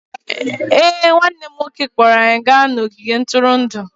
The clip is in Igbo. Ee, nwanne m nwoke kpọọrọ anyị gaa n'ogige ntụrụndụ